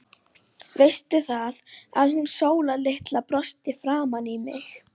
Veistu það, að hún Sóla litla brosti framan í mig.